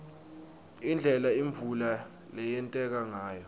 indlela imvula leyenteka ngayo